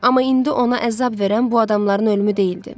Amma indi ona əzab verən bu adamların ölümü deyildi.